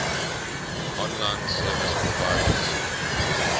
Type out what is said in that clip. online service providers